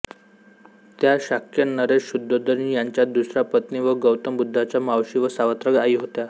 त्या शाक्य नरेश शुद्धोधन यांच्या दुसऱ्या पत्नी व गौतम बुद्धांच्या मावशी व सावत्र आई होत्या